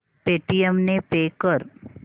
Paytm ने pay कर